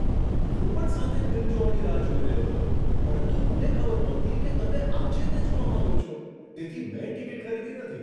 હું પણ સાથે ફિલ્મ જોવાની રાહ જોઈ રહ્યો હતો, પરંતુ મને ખબર નહોતી કે તમે આજે તે જોવા માંગો છો, તેથી મેં ટિકિટ ખરીદી નથી.